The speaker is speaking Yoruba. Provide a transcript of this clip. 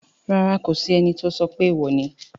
Rárá, kò sí ẹni tó sọ pé èèwò ni